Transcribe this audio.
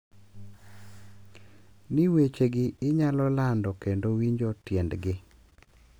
Ni wechegi inyalo lando kendo winjo tiendgi.